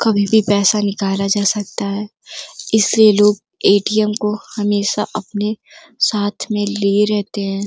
कभी भी पैसा निकाला जा सकता है। इससे लोग ए_टी_एम को हमेशा अपने साथ में लिए रहते हैं।